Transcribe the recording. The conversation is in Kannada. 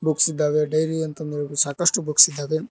ಬುಕ್ಸ್ ಇದ್ದಾವೆ ಡೈರಿ ಅಂತ್ ಅಂದ ಹೇಳ್ ಸಾಕಷ್ಟು ಬುಕ್ಸ್ ಇದ್ದಾವೆ.